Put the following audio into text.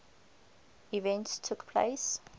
events took place